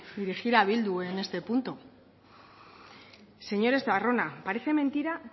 dirigir a bildu en este punto señor estarrona parece mentira